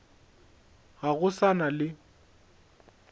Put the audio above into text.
ga go sa na le